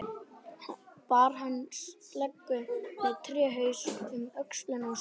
Bar hann sleggju með tréhaus um öxl sér.